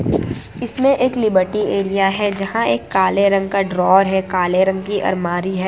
इसमें एक liberty area है जहां एक काले रंग का ड्रॉवर है काले रंग की अलमारी है।